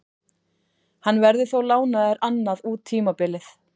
Hann verður þó lánaður annað út tímabilið.